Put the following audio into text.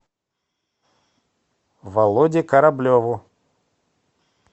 володе кораблеву